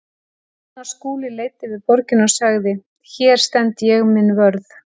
Ég man að Skúli leit yfir borgina og sagði: Hér stend ég minn vörð.